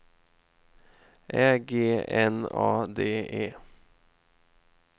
Ä G N A D E